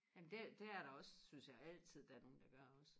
jamen det det er der også synes jeg altid der er nogen der gør også